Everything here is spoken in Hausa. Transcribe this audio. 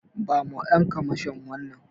Bawa Ƴan kwamashon wannan.